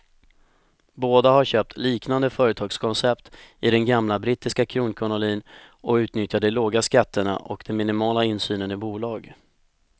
Båda har köpt liknande företagskoncept i den gamla brittiska kronkolonin och utnyttjar de låga skatterna och den minimala insynen i bolag.